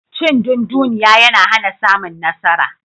Cindunduniya yana hana samun nasara.